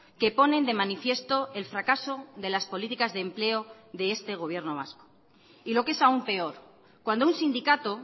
que ponen de manifiesto el fracaso de las políticas de empleo de este gobierno vasco y lo que es aún peor cuando un sindicato